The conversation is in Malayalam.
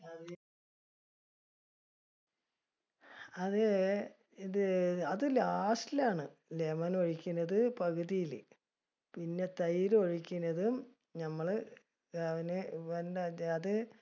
അത് ഇത് അത് last ല് ആണ്. lemon ഒഴിക്കണത് പകുതിയില്.